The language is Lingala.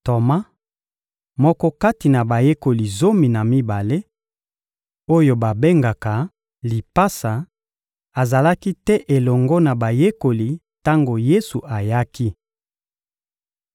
Toma, moko kati na bayekoli zomi na mibale, oyo babengaka Lipasa, azalaki te elongo na bayekoli tango Yesu ayaki.